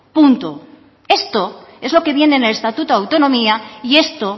esto es lo que viene en el estatuto de autonomía y esto